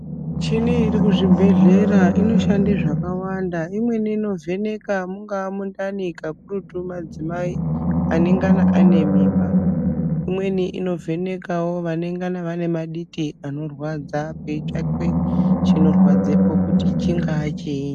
Michini iri kuzvibhedhlera inoshande zvakawanda. Imweni inovheneka mungava mundani kakurutu madzimai anengana ane mimba. Imweni inovhenekawo vanengana vane vaditi anorwadza, peitsvakwe chinorwadzepo kuti chingaa chii.